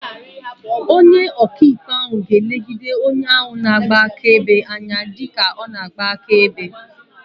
Onye oka ikpe ahu ga-elegide onye ahu na-agba akaebe anya dika ọ ga na-agba akaebe.